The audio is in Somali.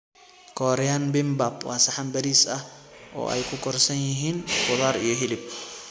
Korean Bimbap waa saxan bariis ah oo ay ku korsan yihiin khudaar iyo hilib.